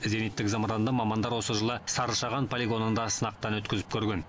зениттік зымыранды мамандар осы жылы сарышаған полигонында сынақтан өткізіп көрген